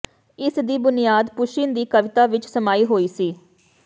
ਇਸ ਦੀ ਬੁਨਿਆਦ ਪੁਸ਼ਿਨ ਦੀ ਕਵਿਤਾ ਵਿਚ ਸਮਾਈ ਹੋਈ ਸੀ